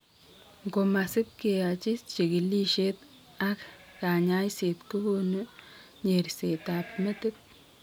Ng'o masip keyachi chigiliest ak kanyaiset kogonu nyerset ab metit